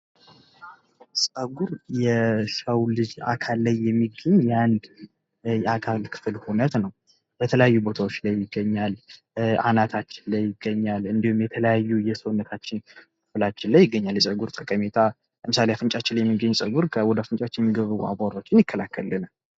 ጸጐር ከሰው ልጅ አካል ላይ የሚገኝ እንድ አካል ክፍል ሁነት ነው። በተላያዩ ቦታዎች ላይ ይገኛል። አናታችን ላይ ይገኛል። እንዲሁም የተለያዩ የሰዉነታን ክፍል ላይ ይገኛል። የተለያዩ ጠቀመታዎች ለምስሌ አፍንጫችን ላይ የሚገኝ ጸጉር የተለያዩ አቧራዎችን ይከላከላል።